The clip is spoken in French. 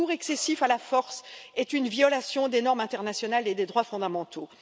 Le recours excessif à la force est une violation des normes internationales et des droits fondamentaux.